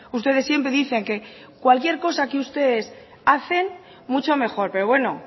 ustedes siempre dicen que cualquier cosa que ustedes hacen mucho mejor pero bueno